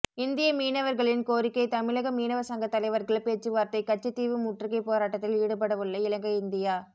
இந்திய மீனவர்களின் கோரிக்கை தமிழக மீனவ சங்க தலைவர்கள் பேச்சுவார்த்தை கச்சைதீவு முற்றுகைப் போராட்டத்தில் ஈடுபடவுள்ள இலங்கை இந்தியா